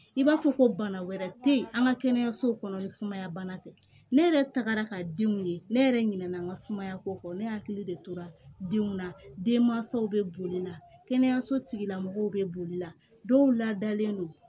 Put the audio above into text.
I b'a fɔ ko bana wɛrɛ tɛ ye an ka kɛnɛyasow kɔnɔ ni sumaya bana tɛ ne yɛrɛ tagara ka denw ye ne yɛrɛ ɲinɛ na n ka sumayako ne hakili de tora denw na denmansaw bɛ boli la kɛnɛyaso tigilamɔgɔw bɛ boli la dɔw ladalen don